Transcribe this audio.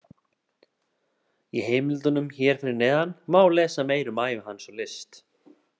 Í heimildunum hér fyrir neðan má lesa meira um ævi hans og list.